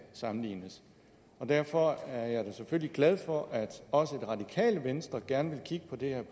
sammenlignes med derfor er jeg da selvfølgelig glad for at også det radikale venstre gerne vil kigge på det